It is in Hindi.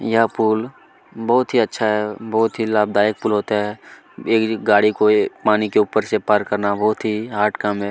यह पूल बहुत ही अच्छा बहुत ही लाभदायक पूल होता है एक गाड़ी को ये पानी के ऊपर से पार करना बहुत ही हार्ड काम हैं।